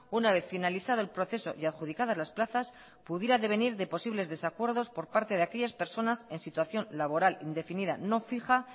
una vez finalizado el proceso y adjudicadas las plazas pudiera devenir de posibles desacuerdos por parte de aquellas personas en situación laboral indefinida no fija